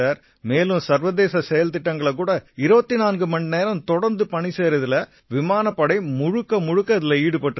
மேலும் சர்வதேச செயல்திட்டங்கள்லயும் கூட 24 மணிநேரம் தொடர்ந்து பணி செய்யறதுல விமானப் படை முழுக்க இதில ஈடுபட்டிருக்கு